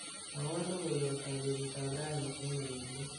mwowon logoyot ab betut ab rani en ureryet